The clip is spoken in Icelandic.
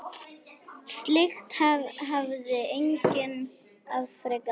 Slíkt hafði enginn afrekað áður.